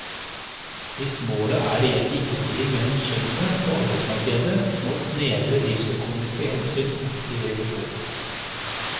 Hvis målet er reell likestilling mellom kjønnene på arbeidsmarkedet, må snevre driftsøkonomiske hensyn opp til revisjon.